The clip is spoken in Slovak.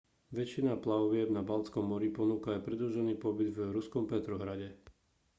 väčšina plavieb na baltskom mori ponúka aj predĺžený pobyt v ruskom petrohrade